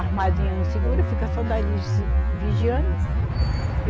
As madrinhas não seguram, ficam só dali se vigiando.